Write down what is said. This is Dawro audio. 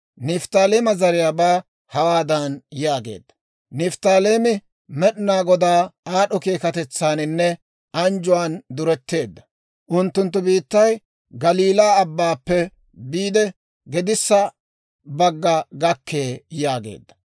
Nifttaaleema zariyaabaa hawaadan yaageedda; «Nifttaaleemi Med'inaa Godaa aad'd'o keekatetsaaninne anjjuwaan duretteedda; unttunttu biittay Galiilaa Abbaappe biide gedissa bagga gakkee» yaageedda.